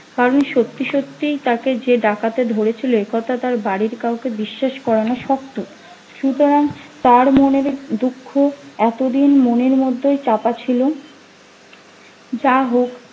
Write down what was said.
কারণ সত্যি সত্যি তাকে যে ডাকাতে ধরেছিল এ কথা তার বাড়ির কাউকে বিশ্বাস করানো শক্ত সুতরাং তার মনের দুঃখ এতদিন মনের মধ্যেই চাপা ছিল যাহোক